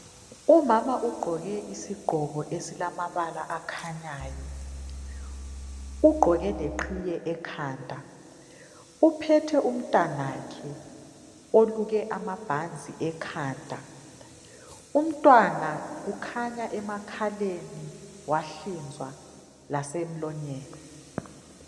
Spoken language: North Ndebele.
Umama ugqoke isigqoko esilamabala akhanyayo ugqoke leqhiye ekhanda uphethe umntanakhe oluke amabhanzi ekhanda umntwana ukhanya emakhaleni wahlinzwa lasemlonyeni.